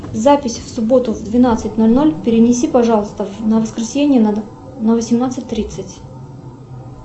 запись в субботу в двенадцать ноль ноль перенеси пожалуйста на воскресенье на восемнадцать тридцать